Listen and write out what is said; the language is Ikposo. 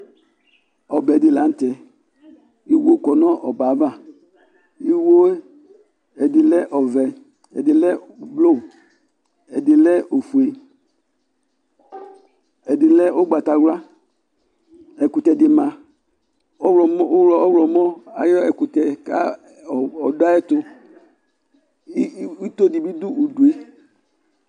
ɔbɛ dɩ lanʊtɛ, iwo kɔ nʊ ɔbɛ yɛ ava, iwo yɛ ɛdɩ lɛ ɔvɛ, ɛdɩ lɛ avavlitsɛ, ɛdɩ lɛ ofue, ɛdɩ lɛ ugbatawla, ɛkʊtɛdɩ ma, ɔwlɔmɔ ayʊ ɛkʊtɛ dʊ ay'ɛtʊ, itodɩ bɩ dʊ udu yɛ